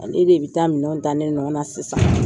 Ale de bɛ taa mintɛnw ta ne nɔ na sisan!